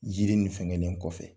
Yiri nin fɛnkɛnen kɔfɛ.